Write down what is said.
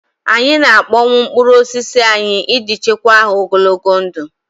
Anyị na-akpọnwụ mkpụrụ osisi anyị iji chekwaa ha ogologo oge.